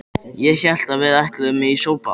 Ég hélt að við ætluðum í sólbað!